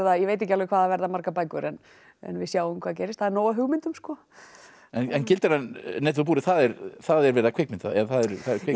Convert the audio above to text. ég veit ekki alveg hvað það verða margar bækur en við sjáum hvað gerist það er nóg af hugmyndum sko en gildran netið og búrið það er verið að kvikmynda það já